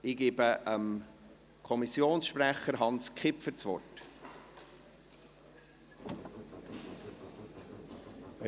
Ich gebe dem Kommissionssprecher Hans Kipfer das Wort.